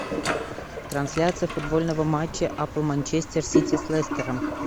трансляция футбольного матча апл манчестер сити с лестером